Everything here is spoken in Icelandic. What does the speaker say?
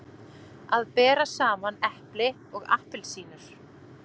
Að bera saman epli og appelsínur